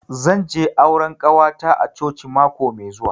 Zan je auran ƙawata a coci mako mai zuwa.